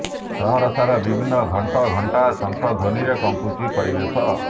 ସହରସାରା ବିଭିନ୍ନ ଘଂଟ ଘଂଟା ସଂଖ ଧ୍ୱନୀରେ କମ୍ପୁଛି ପରିବେଶ